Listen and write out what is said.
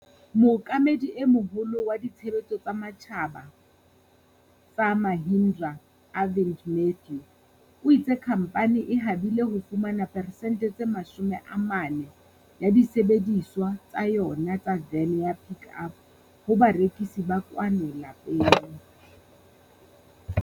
Mookamedi e Moholo wa Ditshebetso tsa Matjhaba tsa Mahindra, Arvind Matthew, o itse khamphane e habile ho fumana peresente tse 40 ya disebedisuwa tsa yona tsa vene ya Pik Up ho barekisi ba kwano lapeng.